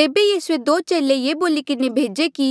तेबे यीसूए दो चेले ये बोली किन्हें भेजे कि